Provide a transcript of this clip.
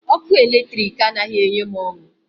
Ọkụ eletrik anaghị enye m ọṅụ.